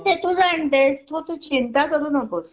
तूच अण्ट्स मग तू चिंता करू नकोस